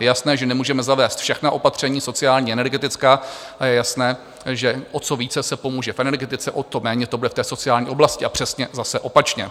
Je jasné, že nemůžeme zavést všechna opaření sociální, energetická, a je jasné, že o co více se pomůže v energetice, o to méně to bude v té sociální oblasti, a přesně zase opačně.